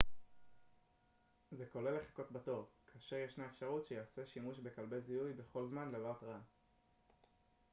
זה כולל לחכות בתור כאשר ישנה אפשרות שייעשה שימוש בכלבי זיהוי בכל זמן ללא התרעה